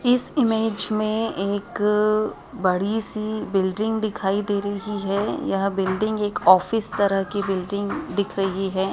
इस इमेज में एक बड़ी सी बिल्डिंग दिखाई दे रही है यह बिल्डिंग एक ऑफिस तरह की बिल्डिंग दिख रही है।